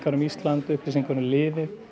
um Ísland upplýsingar um liðið